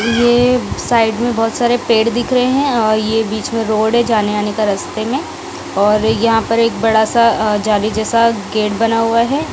यह साइड में बहुत सारे पेड़ दिख रहे हैं और यह बीच में रोड है जाने आने का रास्ते में और यहां पर एक बड़ा सा जाली जैसा गेट बना हुआ है।